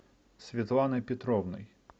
светланой петровной